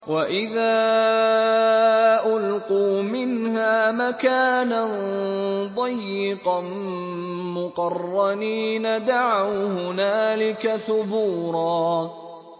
وَإِذَا أُلْقُوا مِنْهَا مَكَانًا ضَيِّقًا مُّقَرَّنِينَ دَعَوْا هُنَالِكَ ثُبُورًا